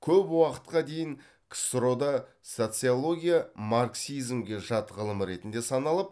көп уақытқа дейін ксро да социология марксизмге жат ғылым ретінде саналып